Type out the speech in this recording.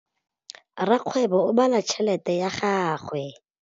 Rakgwêbô o bala tšheletê ya gagwe.